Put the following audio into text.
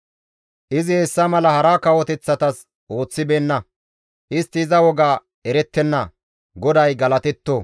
Izi hessa mala hara kawoteththatas ooththibeenna; istti iza woga erettenna. GODAY galatetto!